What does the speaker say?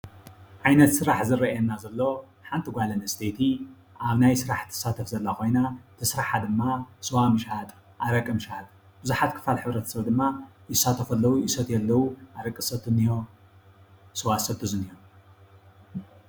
ዓይነት ስራሕ ዝረአየና ዘሎ ሓንቲ ጓል ኣነስተይቲ ኣብ ናይ ስራሕ ትሳተፍ ዘላ ኮይና ስርሓ ድማ ስዋ ምሻጥ፣ ኣረቂ ምሻጥ ብዙሓት ክፋል ሕብረተሰብ ድማ ይሳተፉ ኣለዉ፡፡ ይሰትዩ ኣለዉ፡፡ ኣረቂ ዝሰቲ እኒሆ፤ ስዋ ዝሰቲ እኒሆ፡፡